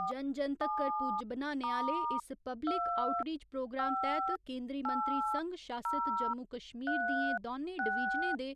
जन जन तक्कर पुज्ज बनाने आह्‌ले इस पब्लिक आउटरीच प्रोग्राम तैह्त केंदरी मंत्री संघ शासित जम्मू कश्मीर दियें दौनें डवीजनें दे